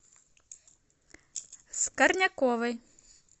скорняковой